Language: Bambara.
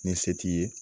Ni se t'i ye